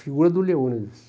Figura do Leônidas.